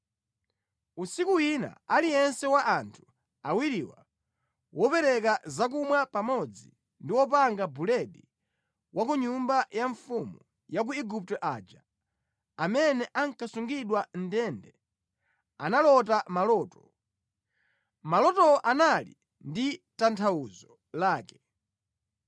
Usiku wina, aliyense wa anthu awiriwa, wopereka zakumwa pamodzi ndi wopanga buledi wa ku nyumba ya mfumu ya ku Igupto aja, amene ankasungidwa mʼndende, analota maloto. Malotowo anali ndi tanthauzo lake.